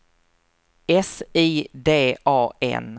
S I D A N